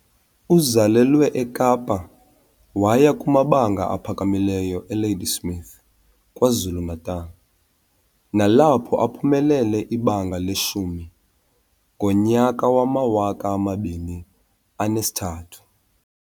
Uzalelwe eKapa waya kumabanga aphakamileyo Ladysmith , KwaZulu-Natal , nalapho aphumelele ibanga leshumi ngo-2003.